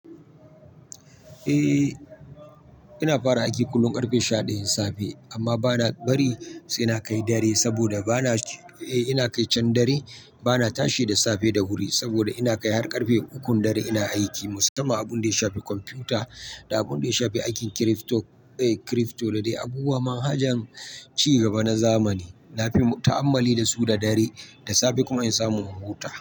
Eh ina fara aiki kullum ƙarfe sha ɗaya na safe amma bana bari sai na kai dare saboda bana ji ina kai can dare bana tashi da safe da wuri saboda ina kai har ƙarfe ukun dare ina aiki musamman abun da ya shafi kwamfuta da abun da ya shafi aikin kirifto da dai abubuwan manhajan ci gaba na zamani. Na fi ta'ammali da su da dare da safe kuma in samu huta.